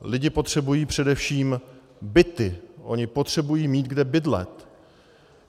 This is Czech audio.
Lidé potřebují především byty, oni potřebují mít kde bydlet.